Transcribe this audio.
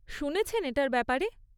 শুনেছেন এটার ব্যাপারে?